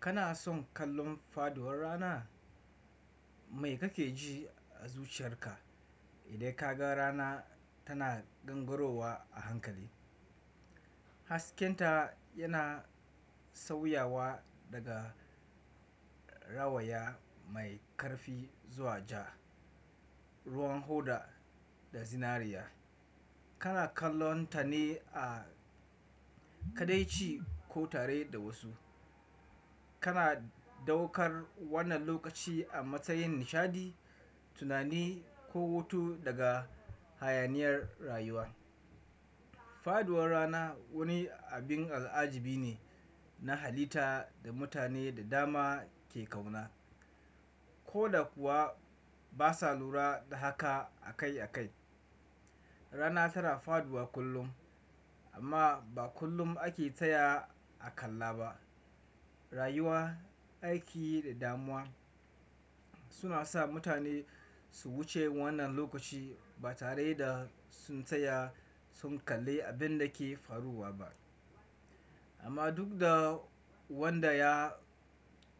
Kana son kallon faduwar rana? Mai kake ji a zuciyarka idan ka ga rana tana gangarowa a hankali? Hasken ta yana sauyawa daga rawaya mai ƙarfi zuwa ja, ruwan hoda da zinariya. Kana kallonta ne a kaɗaici ko tare da wasu. Kana ɗaukar wannan lokaci a matsayin nishaɗi, tunani ko hutu daga hayaniyar rayuwa. Faduwar rana wani abin al'ajibi ne na halitta da mutane da dama ke ƙauna. Ko da kuwa ba sa lura da haka a kai a kai. Rana tana faduwa kullum amma ba kullum ake taya a kalla ba. Rayuwa, aiki da damuwa suna sa mutane su wuce wannan lokaci ba tare da sun tsaya sun kalli abin da ke faruwa ba. Amma duk da wanda ya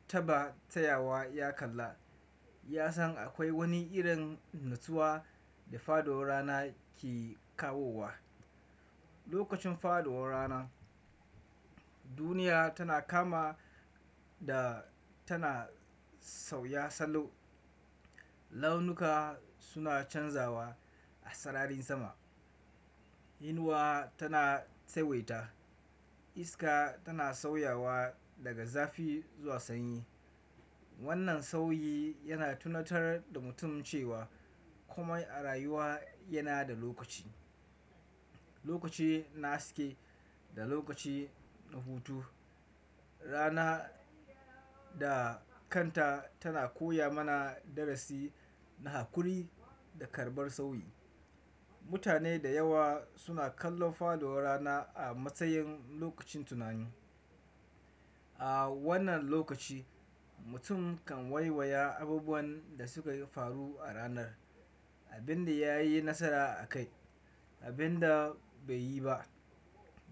taɓa tayawa ya kalla, ya san akwai wani irin natsuwa da faduwar rana ke kawowa. Lokacin faduwar rana duniya tana kama da tana sauya salo. Launuka suna canzawa a sararin sama. Inuwa tana tsawaita, iska tana sauyawa daga zafi zuwa sanyi. Wannan sauyi yana tunatar da mutum cewa komai a rayuwa yana da lokaci. Lokaci na haske da lokaci na hutu. Rana da kanta tana koya mana darasi na haƙuri da karɓar sauyi. Mutane da yawa suna kallon faduwar rana a matsayin lokacin tunani. A wannan lokaci mutum kan waiwaya abubuwan da sukayi faru a ranar, abin da ya yi nasara a kai, abin da bai yi ba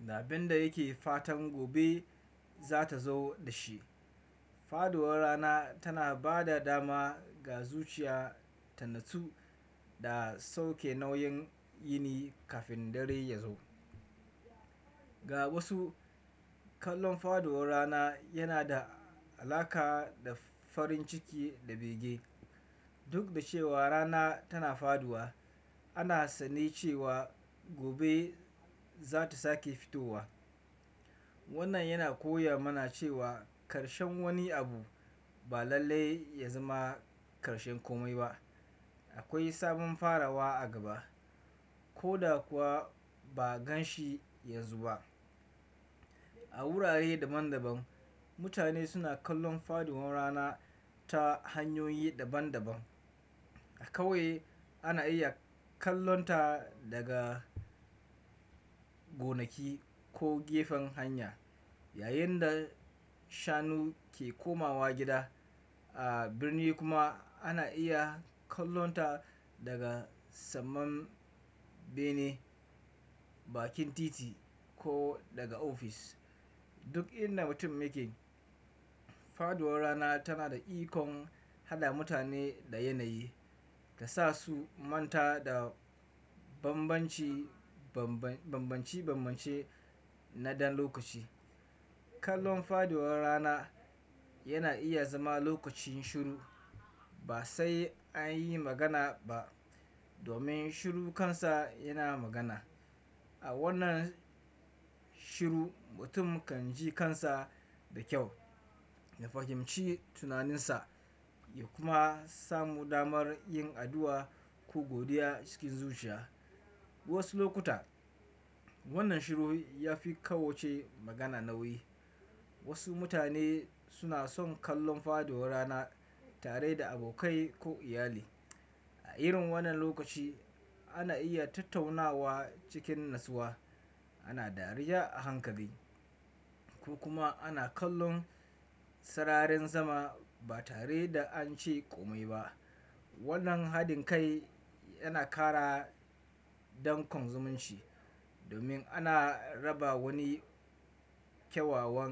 da abin da yake fatan gobe za ta zo da shi. Faɗuwar rana tana ba da dama ga zuciya ta natsu da sauke nauyin yini kafin dare ya zo. Ga wasu kallon faɗuwar rana yana da alaƙa da farin ciki da bege. Duk da cewa rana tana faduwa, ana sane cewa gobe za ta sake fitowa. Wannan yana koya mana cewa ƙarshen wani abu ba lallai ya zama ƙarshen komai ba. Akwai sabon farawa a gaba ko da kuwa ba a gan shi yanzu ba. A wurare daban daban mutane suna kallon faduwar rana ta hanyoyi daban daban. A ƙauye ana iya kallonta daga gonaki ko gefen hanya yayin da shanu ke komawa gida. A birni kuma ana iya kallonta daga saman bene, bakin titi ko daga ofis. Duk inda mutum yake faɗuwar rana tana da ikon haɗa mutane da yanayi da sa su manta da banbanci banban banbance-banbance na ɗan lokaci. Kallon faɗuwar rana yana iya zama lokacin shiru ba sai an yi magana ba domin shiru kansa yana magana. A wannan shiru mutum kan ji kansa da kyau, ya fahimci tunaninsa ya kuma samu damar yin addu'a ko godiya cikin zuciya. Wasu lokuta wannan shiru ya fi kowace magana nauyi. Wasu mutane suna son kallon faduwar rana tare da abokai ko iyali. A irin wannan lokaci ana iya tattaunawa cikin natsuwa, ana dariya a hankali ko kuma ana kallon sararin sama ba tare da an ce komai ba. Wannan haɗin kai yana ƙara danƙon zumunci domin ana raba wani kyawawan.